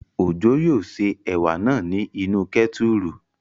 Òjó yóò se ẹ̀wà náà ní inú kẹ́tùrù